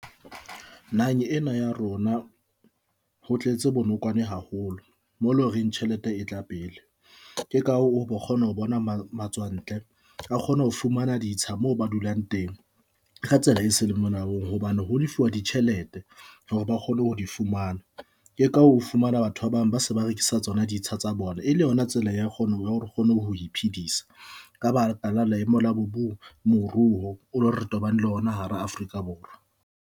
Naheng ena ya rona, ho tletse bonokwane haholo mo loreng tjhelete e tla pele. Ke ka hoo o kgona ho bona matswantle a kgona ho fumana ditsha moo ba dulang teng ka tsela e se le molaong hobane ho lefuwa ditjhelete hore ba kgone ho di fumana ke ka ho fumana batho ba bang ba se ba rekisa tsona ditsha tsa bona e le yona tsela ya kgona hore o kgone ho iphedisa, ka baka le maemo a moruo o lo re tobane le ona hara Afrika Borwa.